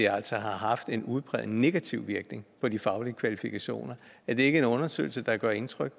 altså har haft en udpræget negativ virkning på de faglige kvalifikationer er det ikke en undersøgelse der gør indtryk